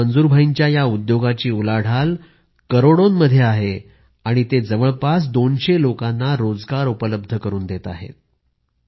आज मंजूर भाईंच्या या उद्योगाची उलाढाल करोडोंमध्ये आहे आणि ते जवळपास दोनशे लोकांना रोजगार उपलब्ध करुन देत आहेत